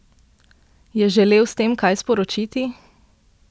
Je želel s tem kaj sporočiti?